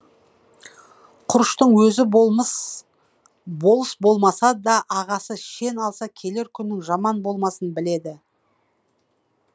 құрыштың өзі болыс болмаса да ағасы шен алса келер күнінің жаман болмасын біледі